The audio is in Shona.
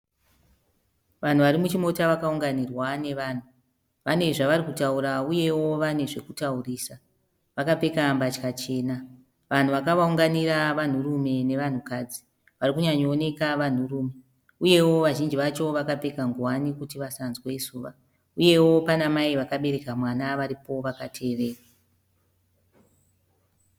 Vanhu varimuchimota vakaunganirwa nevanhu, vane zvavarikutaura uyewo vane zvekutaurisa, vakapfeka mbatya chena, vanhu vakavaunganira vanhurume nevanhukadzi, varikuuyanyooneka vanhurume uyewo vazhinji vacho vakapfeka ngowani kuti vasanzwe zuva uyewo pana mai vakabereka mwana varipowo vakateerera.